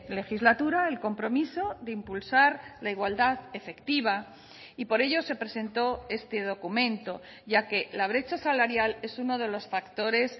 legislatura el compromiso de impulsar la igualdad efectiva y por ello se presentó este documento ya que la brecha salarial es uno de los factores